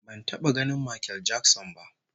Ban taba ganin Makel Jakson ba